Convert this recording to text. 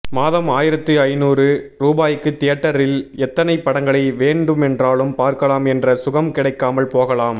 மாதம் ஆயிரத்து ஐநூறு ரூபாய்க்கு தியேட்டரில் எத்தனைப் படங்களை வேண்டுமென்றாலும் பார்க்கலாம் என்ற சுகம் கிடைக்காமல் போகலாம்